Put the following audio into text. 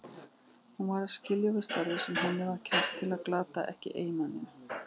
Hún varð að skilja við starf sem henni var kært til að glata ekki eiginmanninum.